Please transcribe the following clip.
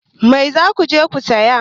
Mai za ku je ku saya?